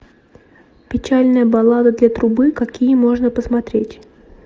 печальная баллада для трубы какие можно посмотреть